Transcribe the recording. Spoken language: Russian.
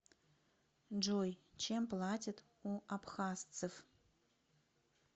джой чем платят у абхазсцев